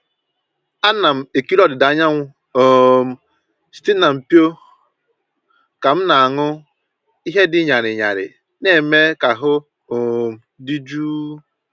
Ana m ekiri ọdịda anyanwụ um site na mpio ka m na-aṅụ ihe dị ñarị ñarị na-eme ka ahụ um dị jụụ.